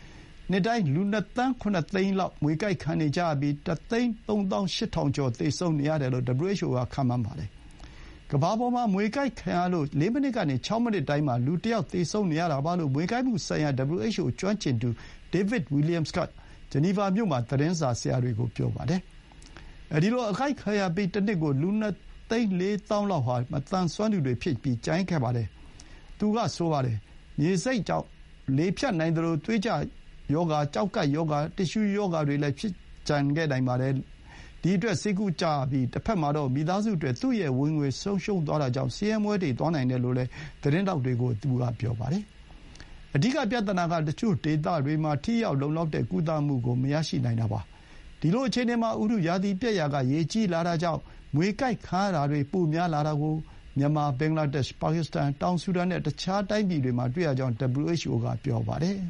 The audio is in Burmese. ။ နှစ်တိုင်း လူ ၂ သန်း ၇ သိန်း လောက် မြွေကိုက်ခံနေကြရပြီး ၁ သိန်း ၃ သောင်း ၈ ထောင်ကျော် သေဆုံးနေရတယ်လို့ WHO က ခန့်မှန်းပါတယ်။ ကမ္ဘာပေါ်မှာ မြွေကိုက်ခံရလို့ ၄ မိနစ်ကနေ ၆ မိနစ်တိုင်း လူတယောက် သေဆုံးနေရတာပါလို့ WHO က မြွေကိုက်မှုဆိုင်ရာကျွမ်းကျင်သူ David Williams က ဂျနီဗာမြို့မှာ သတင်းစာဆရာတွေကို ပြောပါတယ်။ အဲဒီလို အကိုက်ခံရပြီး တနှစ်ကို လူ ၂ သိန်း ၄ သောင်းလောက်ဟာ မသန်စွမ်းသူတွေ ဖြစ်ကျန်ခဲ့ရပါတယ်လို့လည်း သူက ဆိုပါတယ်။ မြွေဆိပ်ကြောင့် လေဖြတ်နိုင်သလို၊ သွေးရောဂါ၊ ကျောက်ကပ်ရောဂါ၊ တစ်သျှူးရောဂါ တွေလည်း ဖြစ်ကျန်ခဲ့နိုင်ပါတယ်။ ဒီအတွက် ဆေးကုကြရပြီး တဘက်မှာတော့ မိသားစုအတွက် သူ့ရဲ့ ဝင်ငွေ ဆုံးရှုံးသွားတာကြောင့် ဆင်းရဲမွဲတေသွားနိုင်တယ်လို့လည်း သတင်းထောက်တွေကို သူက ပြောပါတယ်။ အဓိက ပြဿနာက တချို့ဒေသတွေမှာ ထိရောက်၊ လုံလောက်တဲ့ ကုသမှုကို မရရှိနိုင်တာပါ။ ဒီလို အခြေအနေမှာ ဥတုရာသီ ပျက်ရာက ရေကြီးလာတာကြောင့် မြွေကိုက်ခံရတာတွေ ပိုများလာတာကို မြန်မာ၊ ဘင်္ဂလားဒေ့ရှ်၊ ပါကစ္စတန်၊ တောင်ဆူဒန် နဲ့ တခြား နိုင်ငံတွေမှာ တွေ့ရကြောင်း WHO က ပြောပါတယ်။